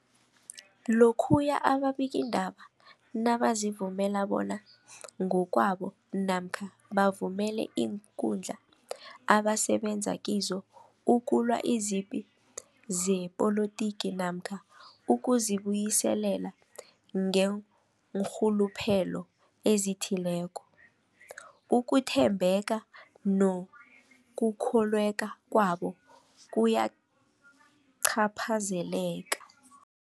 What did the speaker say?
Lokhuya ababikiindaba nabazivumela bona ngokwabo namkha bavumele iinkundla abasebenza kizo ukulwa izipi zepolitiki namkha ukuzi buyiselela ngeenrhuluphelo ezithileko, ukuthembeka nokukholweka kwabo kuyacaphazeleka.